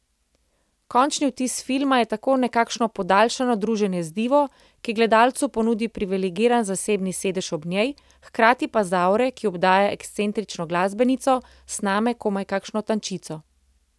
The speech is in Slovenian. Končni vtis filma je tako nekakšno podaljšano druženje z divo, ki gledalcu ponudi privilegiran zasebni sedež ob njej, hkrati pa z aure, ki obdaja ekscentrično glasbenico, sname komaj kakšno tančico.